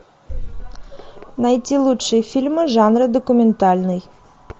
найти лучшие фильмы жанра документальный